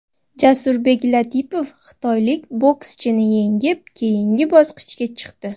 Jasurbek Latipov xitoylik bokschini yengib, keyingi bosqichga chiqdi.